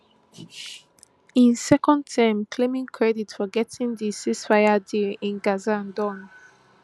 im second term claiming credit for getting di ceasefire deal in gaza Accepted